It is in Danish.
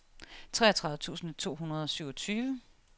treogtredive tusind to hundrede og syvogtyve